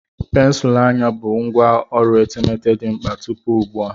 Pensụl anya bụ ngwá ọrụ etemeete dị mkpa tupu ugbu a.